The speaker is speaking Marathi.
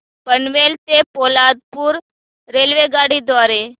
पनवेल ते पोलादपूर रेल्वेगाडी द्वारे